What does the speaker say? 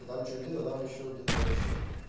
а там что дело там ещё где-то там ещё